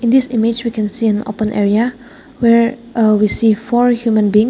this image we can see an open area where ah we see four human being.